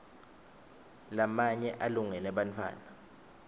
lamanye alungele bantfwana